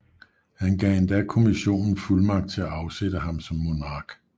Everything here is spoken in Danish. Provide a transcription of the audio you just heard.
Han gav endda kommissionen fuldmagt til at afsætte ham som monark